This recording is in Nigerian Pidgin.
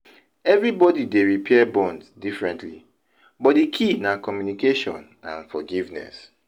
everybody dey repair bonds differently but di key na communication and forgiveness.